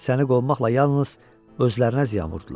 Səni qovmaqla yalnız özlərinə ziyan vurdular.